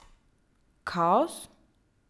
Kaos?